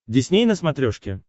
дисней на смотрешке